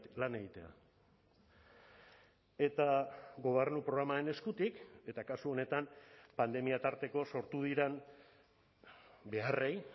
lan egitea eta gobernu programaren eskutik eta kasu honetan pandemia tarteko sortu diren beharrei